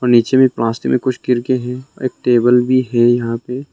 नीचे में प्लास्टिक में कुछ गिर गए हैं और एक टेबल भी हैं यहां पे।